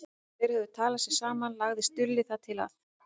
Þegar þeir höfðu talað sig saman lagði Stulli það til að